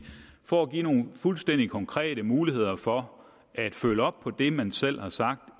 for at give nogle fuldstændig konkrete muligheder for at følge op på det man selv har sagt